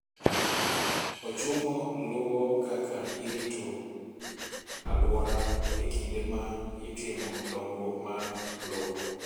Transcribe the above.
Ochumo luwo kaka irito alwora e kinde ma itimo dongruok mar lowo.